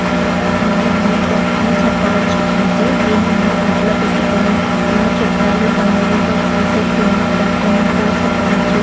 ఇది ఒక mini theatre అని చెప్ప వచ్చు అంటే దీన్ని మనము ఇంట్లో పెట్టుకొని మన చుట్టాలు బంధువులతో చూసే సినిమా పరిశ్రమ అని చెప్పవచ్చు.